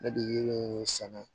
Ne de ye sɛnɛ